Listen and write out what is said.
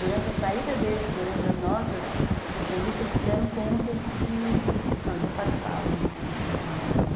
Durante a saída deles, durante as nossas entrevistas, eles se deram conta de que, não, eles não participavam assim, não, da Vila Madalena.